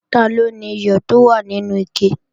Taló niyọ̀ tó wà nínú ike?